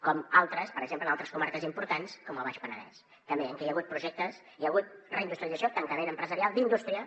com altres per exemple en altres comarques importants com el baix penedès també en què hi ha hagut projectes hi ha hagut reindustrialització tancament empresarial d’indústria